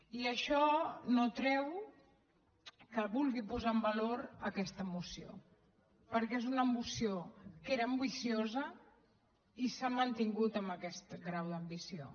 i això no treu que vulgui posar en valor aquesta moció perquè és una moció que era ambiciosa i s’ha mantingut amb aquest grau d’ambició